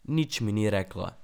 Nič mi ni rekla.